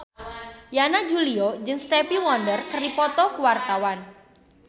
Yana Julio jeung Stevie Wonder keur dipoto ku wartawan